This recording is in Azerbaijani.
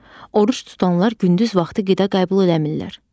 Oruc tutanlar gündüz vaxtı qida qəbul eləmirlər.